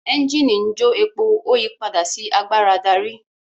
Ẹ́ńjìnì njo èpo o yí pàdà sí àgbàrá darí.